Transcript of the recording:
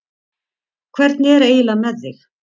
Hvernig er eiginlega með þig?